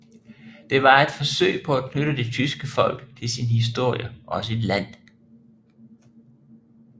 Det var et forsøg på at knytte det tyske folk til sin historie og sit land